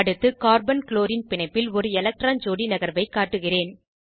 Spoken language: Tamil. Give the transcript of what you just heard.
அடுத்து கார்பன் க்ளோரின் பிணைப்பில் ஒரு எலட்க்ரான் ஜோடி நகர்வை காட்டுகிறேன்